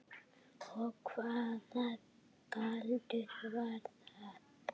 Og hvaða galdur var það?